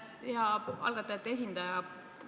Hea algatajate esindaja!